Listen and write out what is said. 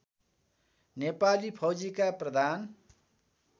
नेपाली फौजीका प्रधान